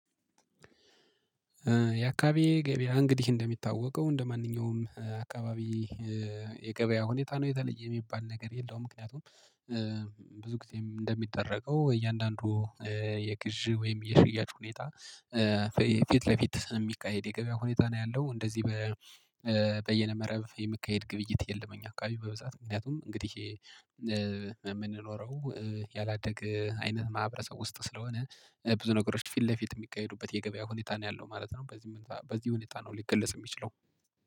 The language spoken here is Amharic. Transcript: የአካባቢዬ ገበያ እንግዲህ እንደሚታወቀው እንደማንኛውም አካባቢ የገበያ ሁኔታ ነው የተለየ የሚባል ነገር የለውም። ምክንያቱም ብዙ ጊዜ እንደሚደረገው እያንዳንዱ የግዢ ወይም የሽያጭ ሁኔታ ፊት ለፊት የሚካሄድ የገበያ ሁኔታ ነው ያለው። እንደዚህ በይነመረብ የሚካሄድ ግብይት የለም። እኛ አካባቢ በብዛት ምክንያቱም እንግዲህ የምንኖረው ያላደገ አይነት ማህበረሰብ ውስጥ ስለሆነ ብዙ ነገሮች ፊት ለፊት የሚቀይሩበት የገበያ ሁኔታ ነው ያለው ማለት ነው። በዚህ ሁኔታ ነው ሊገልጽ የሚችለው